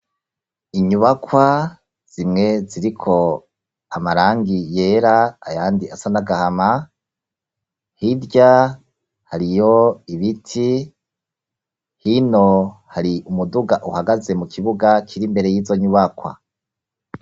inyubakwa zimwe ziriko amarangi yera ayandi asa n'agahama hirya hariyo ibiti hino hari umuduga uhagaze mu kibuga kiri imbere y'izo nyubakwa